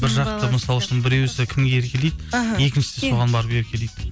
бір жақты мысалы үшін біреуісі кімге еркелейді іхі екіншісі соған барып еркелейді